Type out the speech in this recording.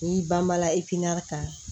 N'i banbela kan